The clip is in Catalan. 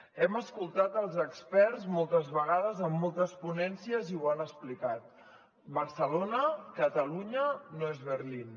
hem escoltat els experts moltes vegades en moltes ponències i ho han explicat barcelona catalunya no és berlín